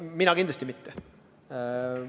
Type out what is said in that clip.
Mina kindlasti pole pannud.